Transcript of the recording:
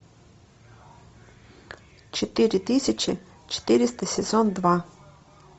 четыре тысячи четыреста сезон два